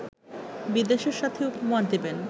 বিদেশের সাথে উপমা দেবেন